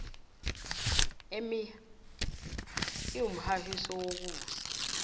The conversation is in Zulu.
emia iwumhahiso wokusa